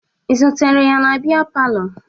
Ị zutere ya na bịa palọ?